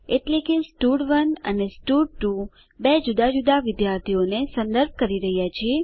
એટલે કે સ્ટડ1 અને સ્ટડ2 બે જુદા જુદા વિદ્યાર્થીઓને સંદર્ભ કરી રહ્યા છે